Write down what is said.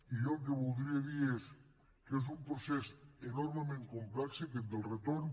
i jo el que voldria dir és que és un procés enormement complex aquest del retorn